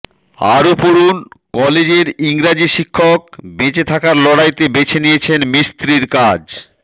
আরো পড়ুন কলেজের ইংরাজি শিক্ষক বেঁচে থাকার লড়াইতে বেছে নিয়েছেন মিস্ত্রির কাজ